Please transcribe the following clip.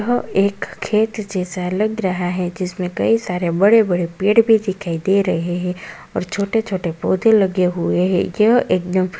यह एक खेत जैसा लग रहा है जिसमें कई सारे बड़े बड़े पेड़ भी दिखाई दे रहे हैं और छोटे छोटे पौधे लगे हुए हैं यह एक --